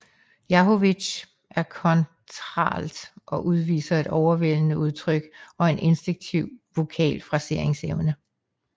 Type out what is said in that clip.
Jahović er kontraalt og udviser et overvældende udtryk og en instinktiv vokal fraseringsevne